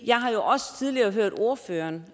jeg har jo også tidligere hørt ordføreren